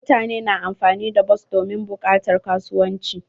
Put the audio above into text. Mutane na amfani da bas domin bukatar kasuwanci.